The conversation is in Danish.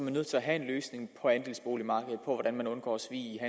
er nødt til at have en løsning på andelsboligmarkedet for hvordan man undgår svig i